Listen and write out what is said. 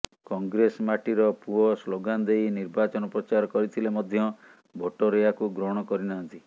କଂଗ୍ରେସ ମାଟିର ପୁଅ ସ୍ଲୋଗାନ ଦେଇ ନିର୍ବାଚନ ପ୍ରଚାର କରିଥିଲେ ମଧ୍ୟ ଭୋଟର ଏହାକୁ ଗ୍ରହଣ କରି ନାହାନ୍ତି